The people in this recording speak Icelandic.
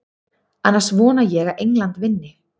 Annars vona ég að England vinni.